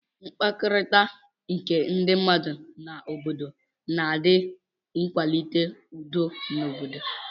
mkpakọrita nke ndi mmadu na obodo na adi akwalite udo n'obodo.